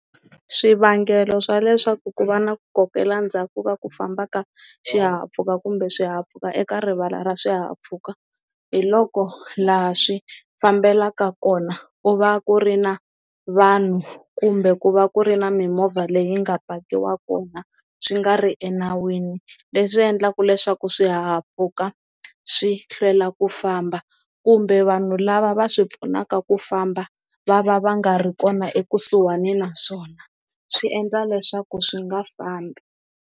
Swivangelo swa leswaku ku va na ku kokela ndzhaku ka ku famba ka xihahampfhuka kumbe swihahampfhuka eka rivala ra swihahampfhuka hi loko laha swi fambelaka kona ku va ku ri na vanhu kumbe ku va ku ri na mimovha leyi nga pakiwaka kona swi nga ri enawini leswi endlaka leswaku swihahampfhuka swi hlwela ku famba kumbe vanhu lava va swi pfunaka ku famba va va va nga ri kona ekusuhani naswona swi endla leswaku swi nga fambi.